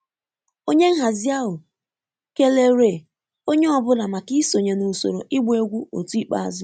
Onye nhazi ahụ kelere onye ọ bụla maka isonye na usoro ịgba egwu otu ikpeazụ